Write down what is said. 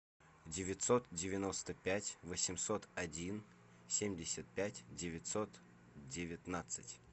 девятьсот девяносто пять восемьсот один семьдесят пять девятьсот девятнадцать